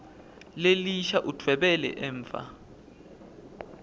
lelisha udvwebele emva